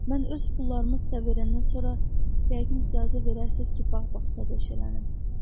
Mən öz pullarımı sizə verəndən sonra, yəqin icazə verərsiniz ki, bağ-bağçada işlələnim.